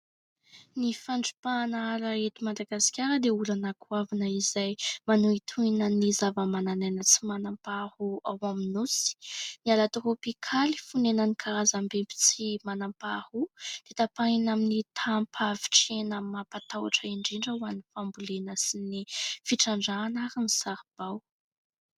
Ny fandrimpahana ala eto Madagasikara dia olana goavana izay manohitohina ny zava-manan'aina tsy manampaharoa ao amin'ny nosy .Ny ala tropikaly fonenan'ny karazam-bimby tsy manam-paharoa dia tapahina amin'ny taham-pahavitrihana mampatahotra indrindra ho an'ny fambolena sy ny fitrandrahana ary ny saribao.